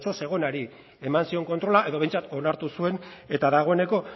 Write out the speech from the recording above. zegonari eman zion kontrola edo behintzat onartu zuen eta dagoeneko